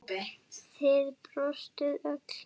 Þið brostuð öll.